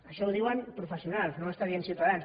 això ho diuen professionals no ho està dient ciutadans